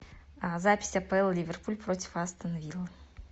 запись апл ливерпуль против астон виллы